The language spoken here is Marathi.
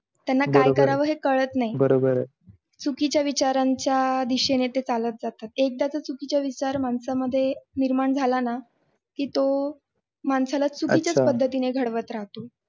त्यांना काय करावे हे कळत नाही चुकीच्या विचारांच्या दिशेने एकदा का चुकीचा विचार माणसांमध्ये निर्माण झाला ना की तो माणसाला चुकीच्या पद्धतीने घडत राहतात.